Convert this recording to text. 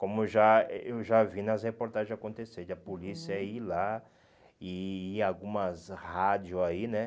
Como eu já eh eu já vi nas reportagens acontecer de a polícia ir lá e e algumas rádios aí, né?